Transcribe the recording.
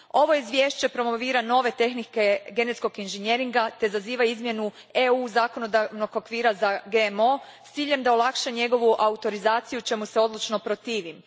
Ovo izvješće promovira nove tehnike genetskog inženjeringa te zaziva izmjenu zakonodavnog okvira EU a za GMO s ciljem da olakša njegovu autorizaciju, čemu se odlučno protivim.